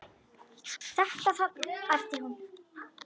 Þetta þarna, æpti hún.